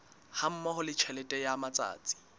hammoho le tjhelete ya matsatsi